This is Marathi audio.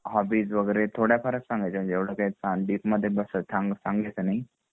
होबबीस वगैरे थोडाफार च संगायच्या म्हणजे एवढं काही डीप मध्ये सांगायच नाही